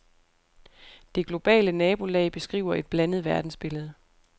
Det globale nabolag beskriver et blandet verdensbillede.